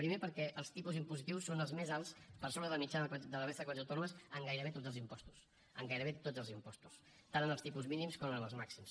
primer perquè els tipus impositius són els més alts per sobre de la mitjana de la resta de comunitats autònomes en gairebé tots els impostos en gairebé tots els impostos tant en els tipus mínims com en els màxims